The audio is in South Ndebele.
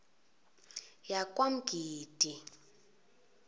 yakwamgidi